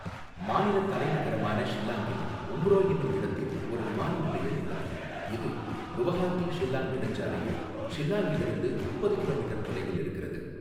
மாநிலத் தலைநகரமான ஷில்லாங்கில் உம்ரோய் எனும் இடத்தில் ஒரு விமான நிலையம் உள்ளது, இது குவஹாத்தி ஷில்லாங் நெடுஞ்சாலையில் ஷில்லாங்கிலிருந்து முப்பது கிலோமீட்டர் தொலைவில் இருக்கிறது.